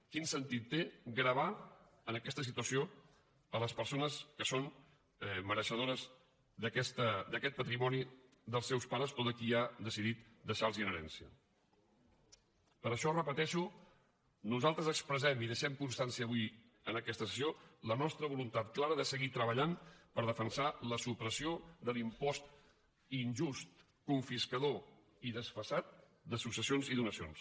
quin sentit té gravar en aquesta situació les persones que són mereixedores d’aquest patrimoni dels seus pares o de qui ha decidit deixarlos en herència per això ho repeteixo nosaltres expressem i en deixem constància avui en aquesta sessió la nostra voluntat clara de seguir treballant per defensar la supressió de l’impost injust confiscador i desfasat de successions i donacions